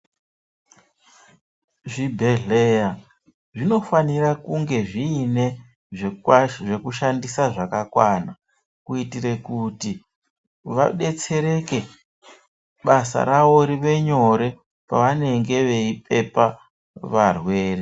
Zvibhedhleya zvinofanira kunge zviine zvekushandisa zvakakwana, kuitire kuti vadetsereke basa ravo rive nyore pavanenge veyipepa varwere.